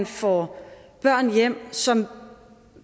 får børn hjem som